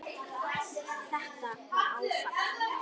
Þetta var áfall.